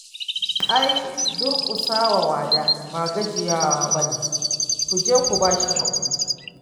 Ai durƙusa wa wada ba gajiya ba ne ku je ku ba shi haƙuri